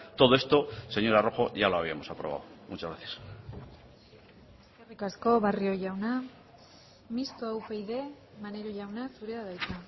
todo esto señora rojo ya lo habíamos aprobado muchas gracias eskerrik asko barrio jauna mistoa upyd maneiro jauna zurea da hitza